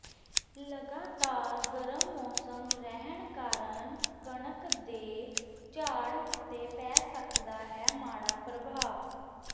ਲਗਾਤਾਰ ਗਰਮ ਮੌਸਮ ਰਹਿਣ ਕਾਰਨ ਕਣਕ ਦੇ ਝਾੜ ਉੱਤੇ ਪੈ ਸਕਦਾ ਹੈ ਮਾੜਾ ਪ੍ਰਭਾਵ